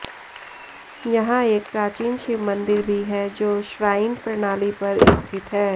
यहां एक प्राचीन शिव मंदिर भी है जो श्राइन प्रणाली पर स्थित है